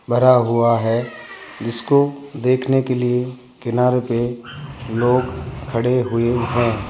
भरा हुआ है जिसको देखने के लिए किनारे पे लोग खड़े हुए हैं।